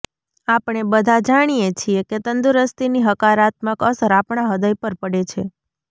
આપણે બધા જાણીએ છીએ કે તંદુરસ્તીની હકારાત્મક અસર આપણા હૃદય પર પડે છે